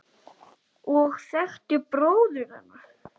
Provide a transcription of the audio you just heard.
og þekktir bróður hennar.